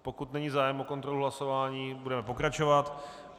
Pokud není zájem o kontrolu hlasování, budeme pokračovat.